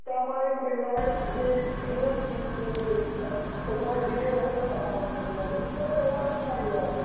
त्यामुळे जो थोड़ा डिले होत होता कामामध्ये आधी तेवढा नाही आहे आता